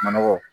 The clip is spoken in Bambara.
Manɔgɔ